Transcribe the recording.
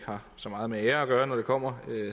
har så meget med ære at gøre når det kommer